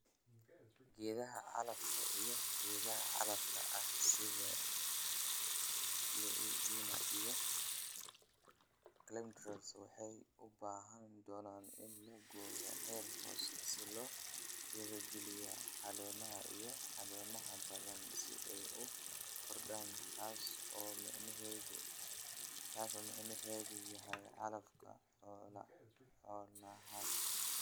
Geedaha calafka iyo geedaha calafka ah (sida luicena iyo callindra) waxay u baahan doonaan in la gooyo heer hoose si loo dhiirigeliyo caleemaha iyo caleemaha badan si ay u koraan taas oo macnaheedu yahay calafka xoolahaaga.